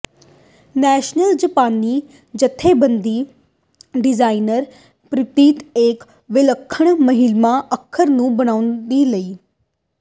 national ਜਪਾਨੀ ਜਥੇਬੰਦੀ designer ਪ੍ਰੇਰਿਤ ਇੱਕ ਵਿਲੱਖਣ ਮਹਿਲਾ ਅੱਖਰ ਨੂੰ ਬਣਾਉਣ ਲਈ